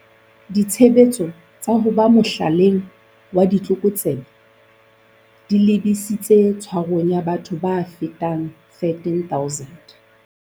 Ditshebetso tsa ho ba mohlaleng wa ditlokotsebe di lebisitse tshwarong ya batho ba fetang 13 000.